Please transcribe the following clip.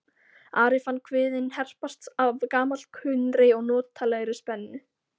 Ari fann kviðinn herpast af gamalkunnri og notalegri spennu.